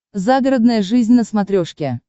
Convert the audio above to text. загородная жизнь на смотрешке